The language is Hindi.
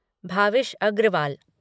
भाविश अग्रवाल